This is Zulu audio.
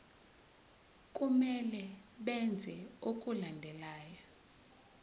kumele benze okulandelayo